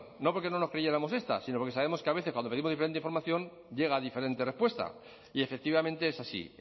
no porque no nos creyéramos esta sino porque sabemos que a veces cuando pedimos diferente información llega diferente respuesta y efectivamente es así